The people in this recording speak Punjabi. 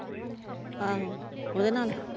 ਆਹੋ ਉਹਦੇ ਨਾਲ?